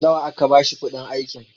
nawa aka bashi kuɗin aikin?